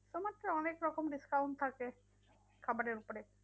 অনেকরকম discount থাকে খাবারের উপরে উপরে